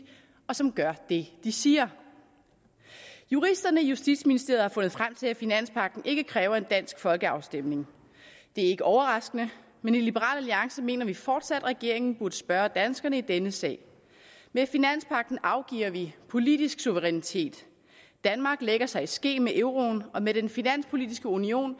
og som gør det de siger juristerne i justitsministeriet har fundet frem til at finanspagten ikke kræver en dansk folkeafstemning det er ikke overraskende men i liberal alliance mener vi fortsat at regeringen burde spørge danskerne i denne sag med finanspagten afgiver vi politisk suverænitet danmark lægger sig i ske med euroen og med den finanspolitiske union